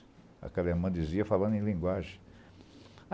Aquela hermandesia falada em linguagem.